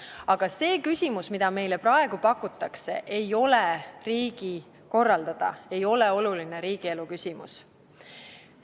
Aga see küsimus, mida meile praegu pakutakse, ei ole riigi korraldada, see ei ole oluline riigielu küsimus.